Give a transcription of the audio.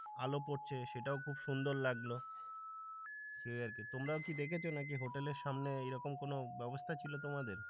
আলো পড়ছে সেটাও খুব সুন্দর লাগলো সেই আরকি তোমরাও কি দেখেছ নাকি হোটেলের সামনে মানে এইরকম কোন ব্যবস্থা ছিল তোমাদের